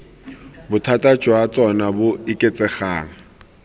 bothata jwa tsona bo oketsegang